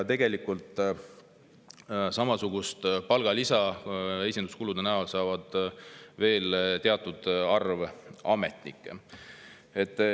Samasugust palgalisa saab esinduskulude näol veel teatud arv ametnikke.